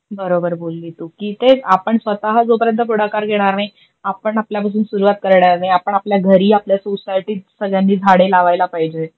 बरोबर बोलली तु. की तेच आपण स्वतः जोपर्यंत पुढाकार घेणार नाही आपण आपल्या पासून सुरवात करणार नाही, आपण आपल्या घरी आपल्या सोसायटीत सगळ्यांनी झाडे लावायला पाहिजे.